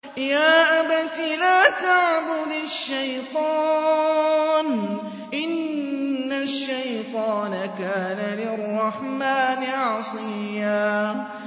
يَا أَبَتِ لَا تَعْبُدِ الشَّيْطَانَ ۖ إِنَّ الشَّيْطَانَ كَانَ لِلرَّحْمَٰنِ عَصِيًّا